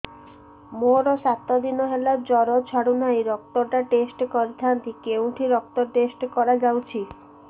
ମୋରୋ ସାତ ଦିନ ହେଲା ଜ୍ଵର ଛାଡୁନାହିଁ ରକ୍ତ ଟା ଟେଷ୍ଟ କରିଥାନ୍ତି କେଉଁଠି ରକ୍ତ ଟେଷ୍ଟ କରା ଯାଉଛି